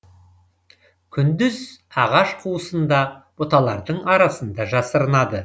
күндіз ағаш қуысында бұталардың арасында жасырынады